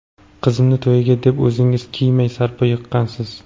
Qizimni to‘yiga deb, o‘zingiz kiymay, sarpo yiqqansiz.